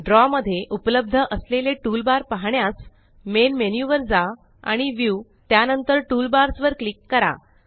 द्रव मध्ये उपलब्ध असलेले टूलबार पाहण्यास मेन मेन्यु वर जा आणि व्ह्यू त्यानंतर टूलबार्स वर क्लिक करा